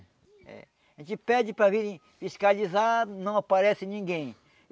A gente pede para virem fiscalizar, não aparece ninguém.